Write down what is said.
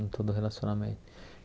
Em todo relacionamento.